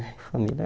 Família